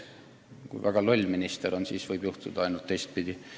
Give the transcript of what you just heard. Ainult siis, kui väga loll minister on, võib juhtuda teistpidi.